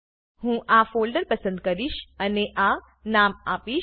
હું આ ફોલ્ડર પસંદ કરીશ અને આ નામ આપીશ